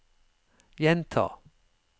gjenta